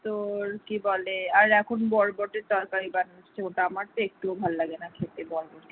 তোর কি বলে আর এখন বরবটির তরকারি বানাচ্ছে ওটা আমার একটুও ভালো লাগে না খেতে